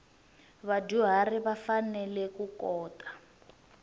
vadyuharhi va fanele ku kota